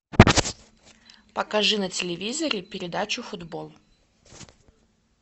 покажи на телевизоре передачу футбол